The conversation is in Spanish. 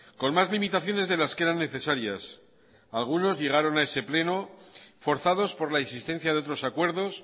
con más limitaciones de las que eran necesarias algunos llegaron a ese pleno forzados por la existencia de otros acuerdos